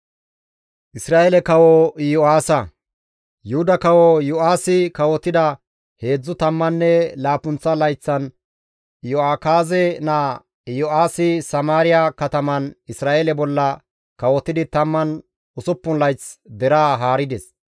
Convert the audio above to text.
Yuhuda kawo Iyo7aasi kawotida heedzdzu tammanne laappunththa layththan Iyo7akaaze naa Yo7aasi Samaariya kataman Isra7eele bolla kawotidi 16 layth deraa haarides.